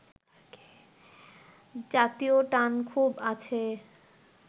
জাতীয় টান খুব আছে